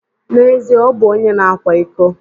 N'ezie, ọ bụ onye na-akwa iko.